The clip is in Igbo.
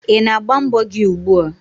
Ị na-agba mbọ gị ugbua?